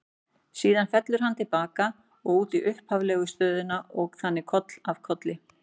Síðan fellur hann til baka og út í upphaflegu stöðuna og þannig koll af kolli.